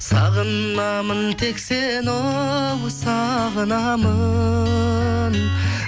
сағынамын тек сені оу сағынамын